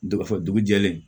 Dɔgɔ fɔ dugu jɛlen